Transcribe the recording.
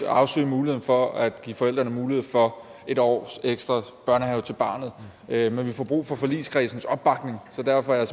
afsøge muligheden for at give forældrene mulighed for en år ekstra i børnehave til barnet men vi får brug for forligskredsens opbakning så derfor er